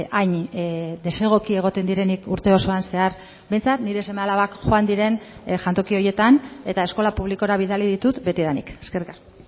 hain desegoki egoten direnik urte osoan zehar behintzat nire seme alabak joan diren jantoki horietan eta eskola publikora bidali ditut betidanik eskerrik asko